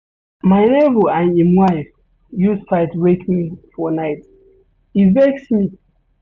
My nebor and im wife use their fight wake me for night, e vex me.